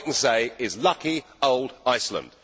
All I can say is lucky old Iceland!